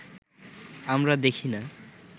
আমরা দেখি না